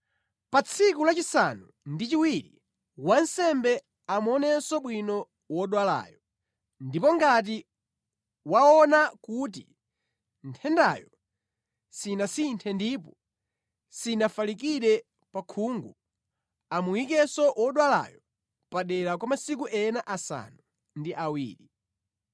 Pa tsiku lachisanu ndi chiwiri wansembe amuonenso bwino wodwalayo. Ndipo ngati waona kuti nthendayo sinasinthe ndipo sinafalikire pa khungu, amuyikenso wodwalayo padera kwa masiku ena asanu ndi awiri.